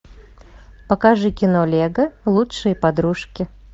покажи кино лего лучшие подружки